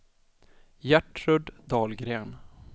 Gertrud Dahlgren